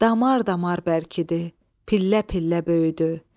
Damar-damar bərkidi, pillə-pillə böyüdü.